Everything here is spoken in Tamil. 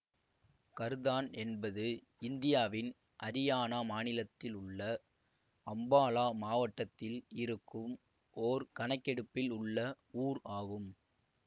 கர்தான் என்பது இந்தியாவின் அரியானா மாநிலத்தில் உள்ள அம்பாலா மாவட்டத்தில் இருக்கும் ஓர் கணக்கெடுப்பில் உள்ள ஊர் ஆகும்